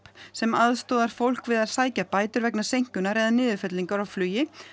sem aðstoðar fólk við að sækja bætur vegna seinkunar eða niðurfellingar á flugi